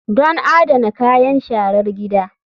Don adana kayan sharar gida.